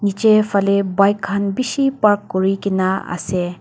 nichae falae bike khan bishi park kurikaena ase.